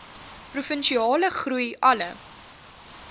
provinsiale groei alle